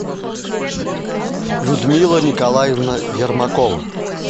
людмила николаевна ермакова